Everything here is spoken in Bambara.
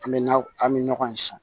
An bɛ na an bɛ nɔgɔn in san